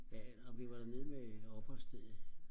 ja nej men vi var dernede med opholdsstedet